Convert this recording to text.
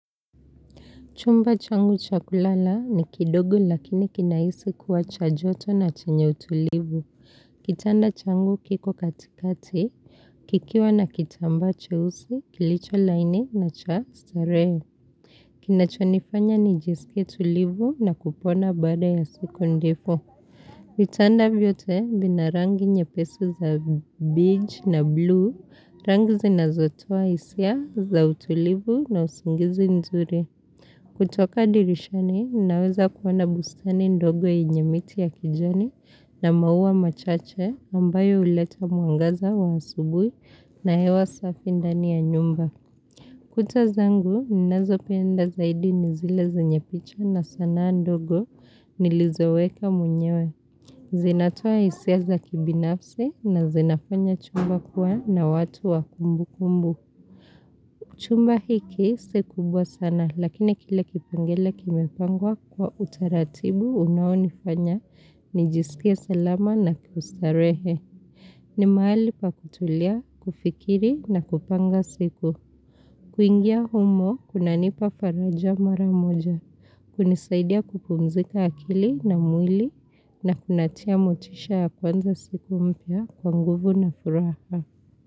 Chumba changu cha kulala ni kidogo lakini kinahisi kuwa cha joto na chenye utulivu. Kitanda changu kiko katikati, kikiwa na kitambaa cheusi, kilicho laini na cha starehe. Kinachonifanya nijisikie tulivu na kupona baada ya siku ndefu. Vitanda vyote vina rangi nyepesi za beige na blue, rangi zinazotoa hisia za utulivu na usingizi nzuri. Kutoka dirishani, naweza kuoana bustani ndogo yenye miti ya kijani na maua machache ambayo huleta mwangaza wa asubuhi na hewa safi ndani ya nyumba. Kuta zangu ninazo penda zaidi ni zile zenye picha na sanaa ndogo nilizoweka mwenyewe. Zinatoa hisia za kibinafsi na zinafanya chumba kuwa na watu wa kumbu kumbu. Chumba hiki si kubwa sana lakini kile kipengele kimepangwa kwa utaratibu unaonifanya nijiskie salama na kiustarehe ni mahali pa kutulia, kufikiri na kupanga siku. Kuingia humo kunanipa faraja mara moja, kunisaidia kupumzika akili na mwili. Na kunatia motisha ya kuanza siku mpya kwa nguvu na furaha.